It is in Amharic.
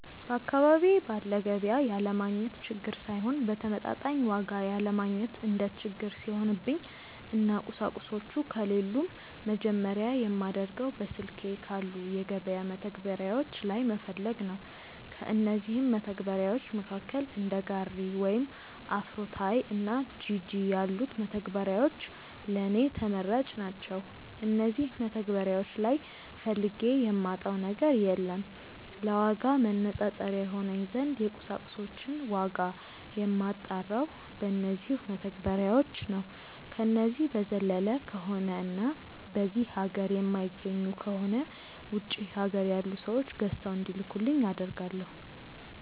በአካባቢዬ ባለ ገቢያ ያለማግኘት ችግር ሳይሆን በተመጣጣኝ ዋጋ ያለማግኘት እንደ ችግር ሲሆንብኝ እና ቁሳቁሶቹ ከሌሉም መጀመርያ የማደርገው በስልኬ ባሉ የገበያ መተግበሪያዎች ላይ መፈለግ ነው። ከእነዚህም መተግበርያዎች መካከል እንደ ጋሪ ወይም አፍሮታይ እና ጂጂ ያሉት መተግበሪያዎች ለኔ ተመራጭ ናቸዉ። እነዚህ መተግበሪያዎች ላይ ፈልጌ የማጣው ነገር የለም። ለዋጋ ማነፃፀሪያ ይሆነኝ ዘንድ የቁሳቁሶችን ዋጋ የማጣራው በነዚው መተግበሪያዎች ነው። ከነዚህ በዘለለ ከሆነ እና በዚህ ሀገር የማይገኙ ከሆነ ውጪ ሀገር ያሉ ሰዎች ገዝተው እንዲልኩልኝ አደርጋለው።